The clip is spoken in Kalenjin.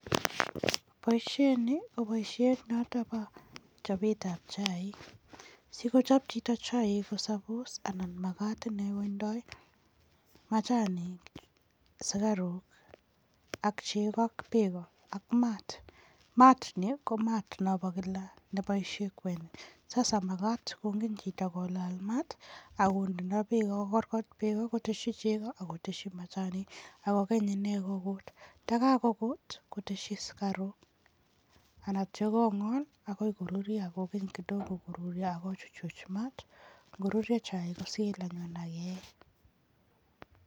Boisiet ni ko boisiet noto bo chopetab chaik, sikochop chito chaik ko suppose anan makat inee kotindoi machanik, sukaruk ak chego ak beek ak maat. Maat ni ko maat no bo kila nepoishe kwenik, sasa makat kongen chito kolaal maat ako ndeno beek, kokorkorkot beeko koteshi beeko ako teshi machanik ako kany ine kokuut, ndakokuut koteshi sukaruk anatyo kongol akoi koruryo ako keny kidogo koruryo, ako kochuchuch maat, ngoruryo chaik kosil anyun ak keyee.